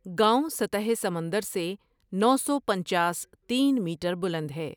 گاؤں سطح سمندر سے نو سو پنچاس تین میٹر بلند ہے ۔